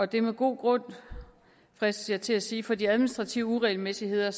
det er med god grund fristes jeg til at sige for de administrative uregelmæssigheder